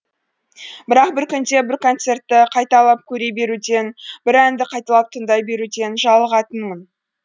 бірақ бір күнде бір концертті қайталап көре беруден бір әнді қайталап тыңдай беруден жалығатынмын